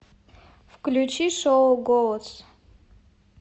включи шоу голос